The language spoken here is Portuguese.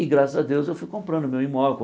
E, graças a Deus, eu fui comprando meu imóvel.